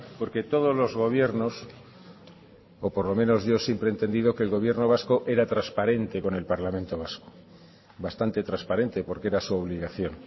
porque todos los gobiernos o por lo menos yo siempre he entendido que el gobierno vasco era transparente con el parlamento vasco bastante transparente porque era su obligación